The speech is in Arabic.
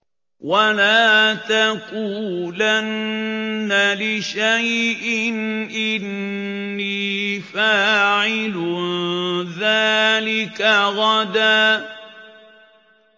وَلَا تَقُولَنَّ لِشَيْءٍ إِنِّي فَاعِلٌ ذَٰلِكَ غَدًا